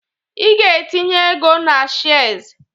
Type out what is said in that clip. I ga-entinye ego na shez